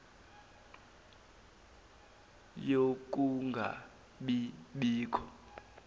yokunga bi bikho